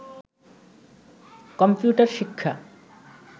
computer শিক্ষা